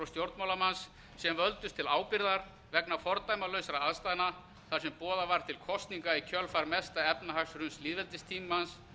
stjórnmálamanns sem völdust til ábyrgðar vegna fordæmalausra aðstæðna þar sem boðað var til kosninga í kjölfar mesta efnahagshruns lýðveldistímans